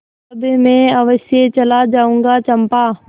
तब मैं अवश्य चला जाऊँगा चंपा